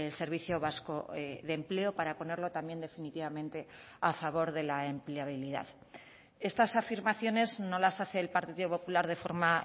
servicio vasco de empleo para ponerlo también definitivamente a favor de la empleabilidad estas afirmaciones no las hace el partido popular de forma